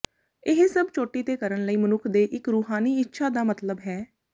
ਇਹ ਸਭ ਚੋਟੀ ਦੇ ਕਰਨ ਲਈ ਮਨੁੱਖ ਦੇ ਇੱਕ ਰੂਹਾਨੀ ਇੱਛਾ ਦਾ ਮਤਲਬ ਹੈ